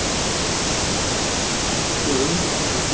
Og enn urðu þeir að endurskoða hugmyndir sínar um genið.